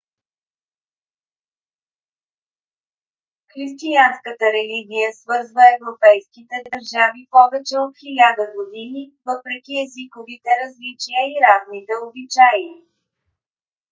християнската религия свързва европейските държави повече от хиляда години въпреки езиковите различия и разните обичаи